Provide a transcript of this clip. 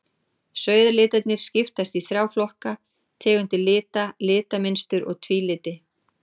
Sauðalitirnir skiptast í þrjá flokka, tegundir lita, litamynstur og tvíliti.